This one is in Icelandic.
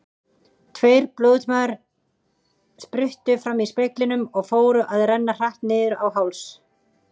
Tveir blóðtaumar spruttu fram í speglinum og fóru að renna hratt niður á háls.